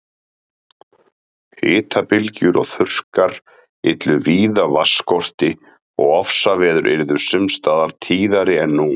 Hitabylgjur og þurrkar yllu víða vatnsskorti og ofsaveður yrðu sums staðar tíðari en nú.